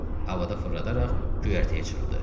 Havada fırladaraq göyərtəyə çırpdı.